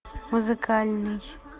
музыкальный